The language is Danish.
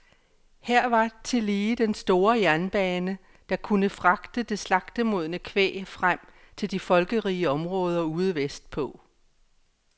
Her var tillige den store jernbane, der kunne fragte det slagtemodne kvæg frem til de folkerige områder ude vestpå.